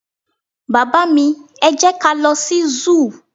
baba mi, e jẹ ka lo sí zoo